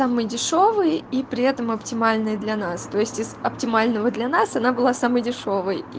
самые дешёвые и при этом оптимальные для нас то есть из оптимального для нас она была самой дешёвой